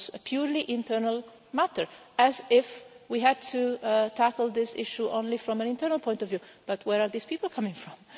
It was a purely internal matter, as if we had to tackle this issue only from an internal point of view, but where are these people coming from?